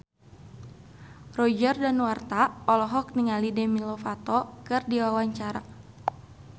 Roger Danuarta olohok ningali Demi Lovato keur diwawancara